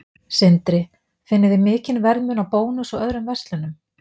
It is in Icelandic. Sindri: Finnið þið mikinn verðmun á Bónus og öðrum verslunum?